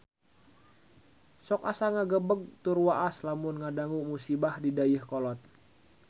Sok asa ngagebeg tur waas lamun ngadangu musibah di Dayeuhkolot